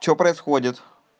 что происходит